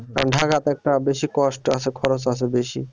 কারণ ঢাকা তো একটা বেশি cost আছে খরচ আছে বেশি